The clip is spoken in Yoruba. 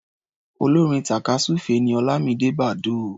Olórin tàkásùfé ni Ọlámidé Bàdóò.